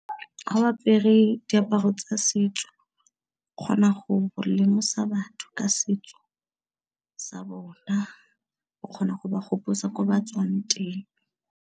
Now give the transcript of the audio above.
Fa ba apere diaparo tsa setso kgona go lemosa batho ka setso sa bona, o kgona go ba gopotsa ko ba tswang teng.